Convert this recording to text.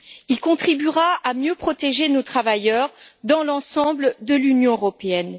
Il contribuera à mieux protéger nos travailleurs dans l'ensemble de l'Union européenne.